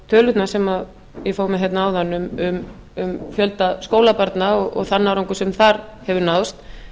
tölurnar sem ég fór með áðan um fjölda skólabarna og þann árangur sem þar hefur náðst